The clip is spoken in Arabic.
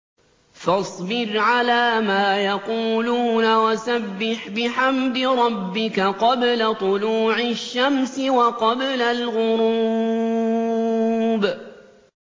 فَاصْبِرْ عَلَىٰ مَا يَقُولُونَ وَسَبِّحْ بِحَمْدِ رَبِّكَ قَبْلَ طُلُوعِ الشَّمْسِ وَقَبْلَ الْغُرُوبِ